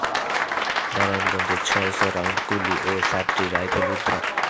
নারায়ণগঞ্জে ছয় শ রাউন্ড গুলি ও সাতটি রাইফেল উদ্ধার